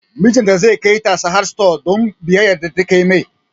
Mijinta zai kai ta Sahad stores don biyayya da take mai